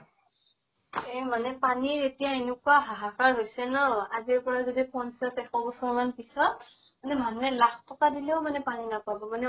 এ মানে পানীৰ এতিয়া এনেকুৱা হাহাকাৰ হৈছে ন । আজিৰ পৰা যদি পঞ্চাছ, এশ বছৰ মান পিছত মানে মানুহে লাখ টকা দিলেও মানে পানী নাপাব, মানে